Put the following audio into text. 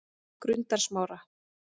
Grundarsmára